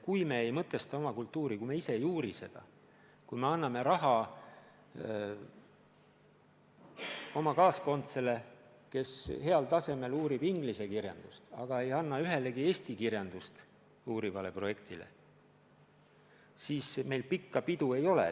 Kui me ei mõtesta oma kultuuri, kui me ise ei uuri seda, kui me anname raha oma kaaskondlasele, kes heal tasemel uurib inglise kirjandust, aga ei anna ühelegi eesti kirjandust uurivale projektile, siis meil pikka pidu ei ole.